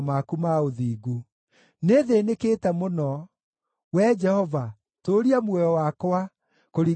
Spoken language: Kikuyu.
Nĩthĩĩnĩkĩte mũno; Wee Jehova, tũũria muoyo wakwa, kũringana na kiugo gĩaku.